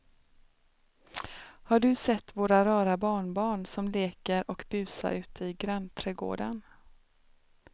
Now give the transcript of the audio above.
Har du sett våra rara barnbarn som leker och busar ute i grannträdgården!